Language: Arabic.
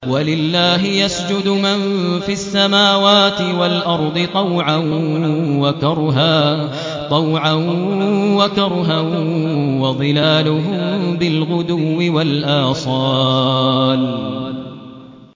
وَلِلَّهِ يَسْجُدُ مَن فِي السَّمَاوَاتِ وَالْأَرْضِ طَوْعًا وَكَرْهًا وَظِلَالُهُم بِالْغُدُوِّ وَالْآصَالِ ۩